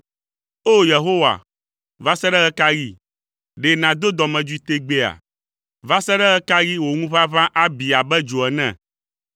O! Yehowa, va se ɖe ɣe ka ɣi? Ɖe nàdo dɔmedzoe tegbeea? Va se ɖe ɣe ka ɣi wò ŋuʋaʋã abi abe dzo ene?